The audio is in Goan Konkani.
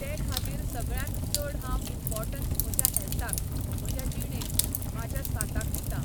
ते खातीर सगळ्यांत चड हांव इम्पोर्टंस म्हज्या हॅल्थाक, म्हज्या जिणेक, म्हाज्या स्वास्ताक दितां.